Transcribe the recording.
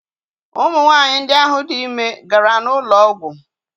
Ụmụ nwaanyi ndị ahụ dị ime gara n'ụlọ ọgwụ.